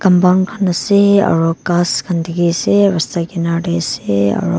eman bhan ase aru gass khan dekhi ase hosa rista kinner te ase.